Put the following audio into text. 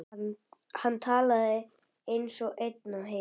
Hann talaði eins og einn á heimilinu.